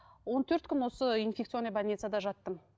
он төрт күн осы инфекционный больницада жаттым